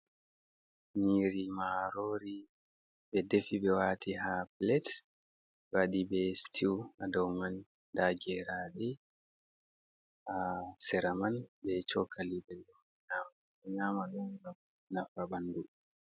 Nyiri marori ɓe defi ɓe wati ha plate ɓe wadi be stiw ha ɗau man nda geraɗe ha sera man be chokka ɓeɗo nyama ɗum ngam nafa ɓandu.